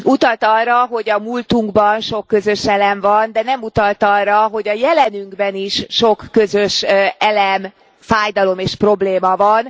Utalt arra, hogy a múltunkban sok közös elem van, de nem utalt arra, hogy a jelenünkben is sok közös elem, fájdalom és probléma van.